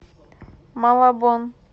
малабон